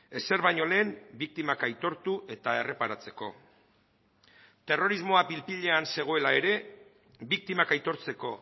ezer baino lehen biktimak aitortu eta erreparatzeko terrorismoa pil pilean zegoela ere biktimak aitortzeko